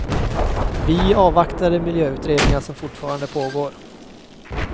Vi avvaktar de miljöutredningar som fortfarande pågår.